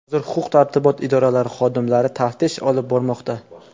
Hozir huquq-tartibot idoralari xodimlari taftish olib bormoqda.